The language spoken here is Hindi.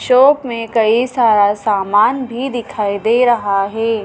शॉप में कई सारा सामान भी दिखाई दे रहा है।